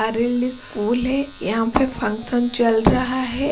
Arjundas school हैयहाँ पे function चल रहा है।